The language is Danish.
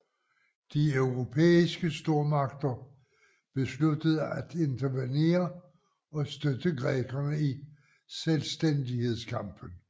De europæiske stormagter besluttede at intervenere og støtte grækerne i selvstændighedskampen